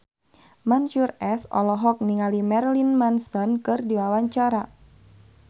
Mansyur S olohok ningali Marilyn Manson keur diwawancara